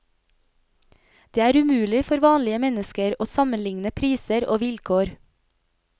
Det er umulig for vanlige mennesker å sammenligne priser og vilkår.